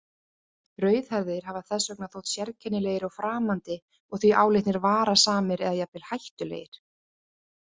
Rauðhærðir hafa þess vegna þótt sérkennilegir og framandi og því álitnir varasamir eða jafnvel hættulegir.